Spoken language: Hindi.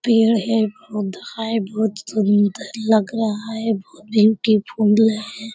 पेड़ है पौधा है बहुत सुंदर लग रहा है बहुत ब्यूटीफुल है।